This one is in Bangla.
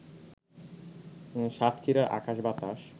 সাতক্ষীরার আকাশ-বাতাস